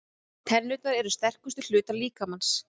Tennurnar eru sterkustu hlutar líkamans.